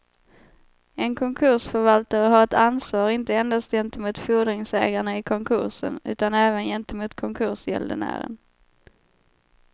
En konkursförvaltare har ett ansvar inte endast gentemot fordringsägarna i konkursen utan även gentemot konkursgäldenären.